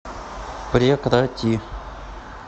прекрати